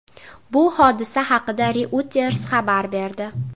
Bu hodisa haqida Reuters xabar berdi .